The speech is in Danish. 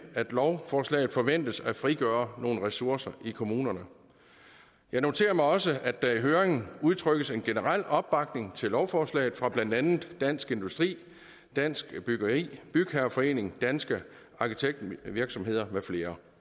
at lovforslaget forventes at frigøre nogle ressourcer i kommunerne jeg noterer mig også at der i høringssvarene udtrykkes en generel opbakning til lovforslaget fra blandt andet dansk industri dansk byggeri bygherreforeningen danske arkitektvirksomheder med flere